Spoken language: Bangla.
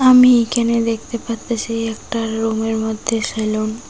আমি এখানে দেখতে পারতাসি একটা রুমের মধ্যে সেলুন ।